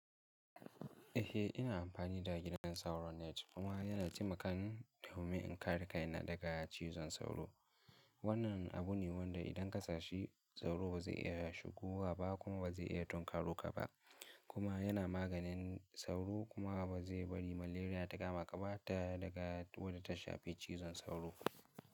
Eh ina amfani da gidan sauro net kuma yana taimaka min domin in kare kaina daga cizon sauro. Wannan abu ne wanda idan ka sashi sauro ba zai iya shigowa ba kuma ba zai iya tonkaroka ba kuma yana maganin sauro kuma ba zai bari malaria ta kama ka ba ta daga wadda ta shafi cizon sauro.